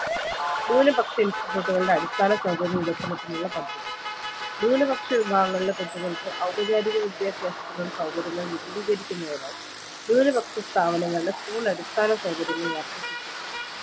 ന്യുനപക്ഷ institute കളുടെ അടിസ്ഥാന സൗകര്യ വികസനത്തിനുള്ള പദ്ധതി ന്യുനപക്ഷ വിഭാഗങ്ങളിലെ കുട്ടികൾക്ക് ഔപചാരിക വിദ്യാഭ്യാസത്തിനുള്ള സൗകര്യങ്ങൾ വിപുലീകരിക്കുന്നതിനായി ന്യുനപക്ഷ സ്ഥാപങ്ങളുടെ school അടിസ്ഥാന സൗകര്യങ്ങൾ വർധിപ്പിക്കും